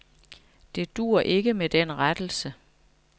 Det duer ikke med den rettelse.